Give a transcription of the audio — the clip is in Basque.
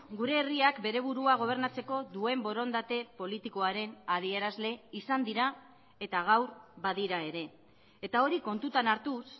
gure herriak bere burua gobernatzeko duen borondate politikoaren adierazle izan dira eta gaur badira ere eta hori kontutan hartuz